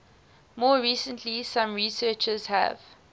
more recently some researchers have